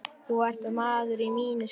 Þú ert maður að mínu skapi.